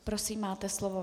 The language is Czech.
Prosím, máte slovo.